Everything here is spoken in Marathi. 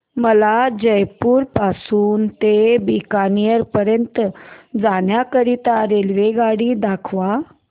मला जयपुर पासून ते बीकानेर पर्यंत जाण्या करीता रेल्वेगाडी दाखवा